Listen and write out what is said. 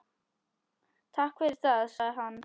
Takk fyrir það- sagði hann.